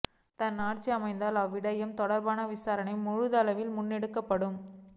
தான் ஆட்சி அமைத்தால் அவ்விடயம் தொடர்பான விசாரணை முழுதளவில் முன்னெடுக்கப்படும்